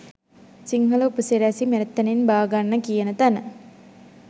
සිංහල උපසිරැසි මෙතනින් බාගන්න කියන තැන